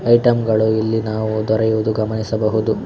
Item ಗಳು ಇಲ್ಲಿ ನಾವು ದೊರೆಯುವುದು ಗಮನಿಸಬಹುದು.